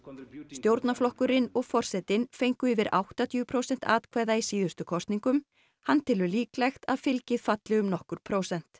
stjórnarflokkurinn og forsetinn fengu yfir áttatíu prósent atkvæða í síðustu kosningum hann telur líklegt að fylgið falli um nokkur prósent